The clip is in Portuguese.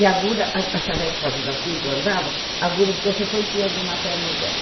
E a agulha, a charrete fazia as enquanto andava, a agulha de crochê foi enfiando na perna dela.